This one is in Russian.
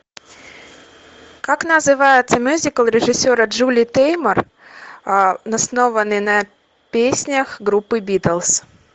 как называется мюзикл режиссера джули теймор основанный на песнях группы битлз